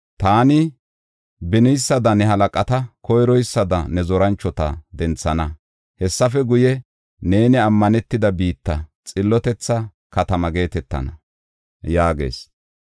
Taani beniysada ne halaqata, koyroysada ne zoranchota denthana. Hessafe guye, neeni ammanetida biitta; xillotetha Katama geetetana” yaagees.